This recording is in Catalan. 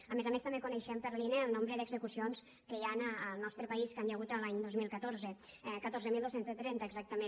a més a més també coneixem per l’ine el nombre d’execucions que hi han al nostre país que hi ha hagut l’any dos mil catorze catorze mil dos cents i trenta exactament